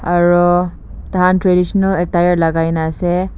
aro taikhan traditional attire lakai kena ase.